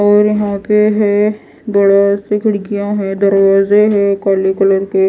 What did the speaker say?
और यहां पे है बड़ा सी खिड़कियां है दरवाजे है काले कलर के।